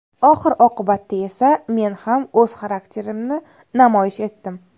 Oxir-oqibatda esa men ham o‘z xarakterimni namoyish etdim.